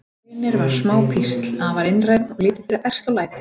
Reynir var smá písl, afar einrænn og lítið fyrir ærsl og læti.